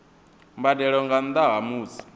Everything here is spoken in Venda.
mbadelo nga nnda ha musi